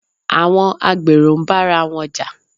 Àwọn agbèrò ń bára wọn Jà